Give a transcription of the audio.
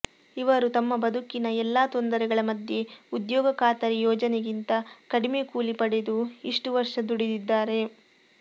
ಇವರು ತಮ್ಮ ಬದುಕಿನ ಎಲ್ಲಾ ತೊಂದರೆಗಳ ಮಧ್ಯೆ ಉದ್ಯೋಗ ಖಾತರಿ ಯೋಜನೆಗಿಂತ ಕಡಿಮೆ ಕೂಲಿ ಪಡೆದು ಇಷ್ಟು ವರ್ಷ ದುಡಿದಿದ್ದಾರೆ